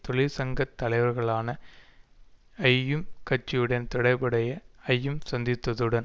தொழிற்சங்கதலைவர்களான ஜயும் கட்சியுடன்தொடர்புடைய ஐயும் சந்தித்ததுடன்